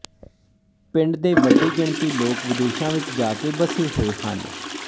ਪਿੰਡ ਦੇ ਵੱਡੀ ਗਿਣਤੀ ਲੋਕ ਵਿਦੇਸ਼ਾਂ ਵਿੱਚ ਜਾ ਕੇ ਵਸੇ ਹੋਏ ਹਨ